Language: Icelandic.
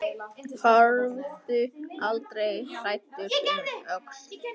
Horfðu aldrei hræddur um öxl!